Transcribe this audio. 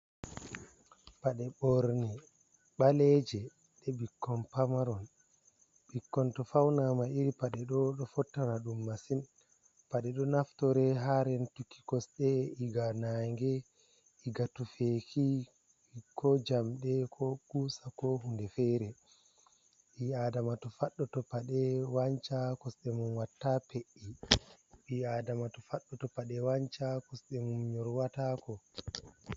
Paɗe ɓorne ɓaleje ɗe ɓikkon pamaron. Ɓikkon to fawnama iri paɗe ɗo ɗo fottana ɗum masin. Paɗe ɗo naftore ha rentuki kosɗe iga naange, iga tufeki ko jamɗe ko kusa ko hunde fere. Ɓi adama to faɗɗo to paɗe wanca kosɗe mum watta pe’i. Ɓi adama to faɗɗo to paɗe wanca kosɗe mum nyor watako.